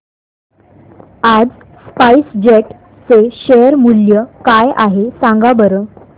आज SpiceJet चे share मूल्य काय आहे सांगा बरं